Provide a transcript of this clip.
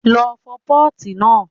Lọ fọ pọ́ọ̀tì náà!